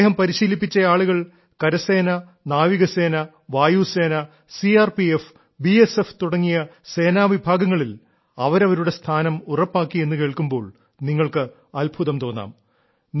അദ്ദേഹം പരിശീലിപ്പിച്ച ആളുകൾ കരസേന നാവികസേന വായുസേന C R P F B S F തുടങ്ങിയ സേനാ വിഭാഗങ്ങളിൽ അവരവരുടെ സ്ഥാനം ഉറപ്പാക്കി എന്നു കേൾക്കുമ്പോൾ നിങ്ങൾക്ക് അത്ഭുതം തോന്നാം